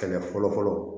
Kɛlɛ fɔlɔ fɔlɔ